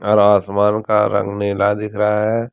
और आसमान का रंग नीला दिख रहा है।